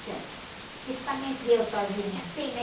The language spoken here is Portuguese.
Então, principalmente eu sozinha, assim, né?